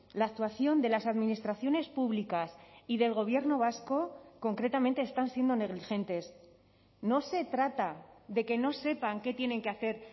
la actuación de las administraciones públicas y del gobierno vasco concretamente están siendo negligentes no se trata de que no sepan qué tienen que hacer